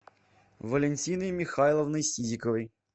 валентиной михайловной сизиковой